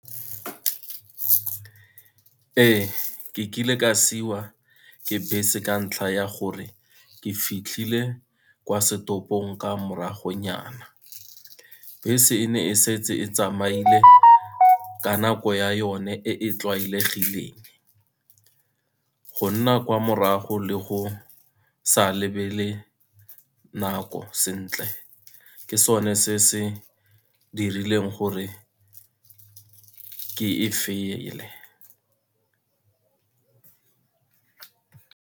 Ee, ke kile ka siwa ke bese ka ntlha ya gore ke fitlhile kwa setopong ka moragonyana, bese e ne e setse e tsamaile ka nako ya yone e e tlwaelegileng. Go nna kwa morago le go sa lebelele nako sentle, ke sone se se dirileng gore ke e .